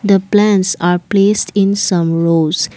the plants are placed in some rows.